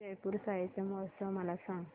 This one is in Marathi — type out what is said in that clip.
जयपुर साहित्य महोत्सव मला सांग